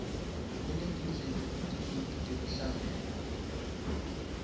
kunetindlela letinyenti tekuhlabela